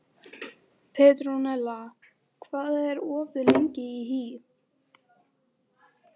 Petronella, hvað er opið lengi í HÍ?